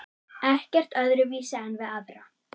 Ekkert öðruvísi en við aðra.